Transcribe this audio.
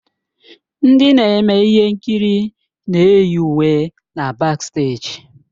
Ndị na-eme ihe nkiri na-eyi uwe na baksteeji.